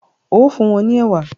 o fún wón ní ewa.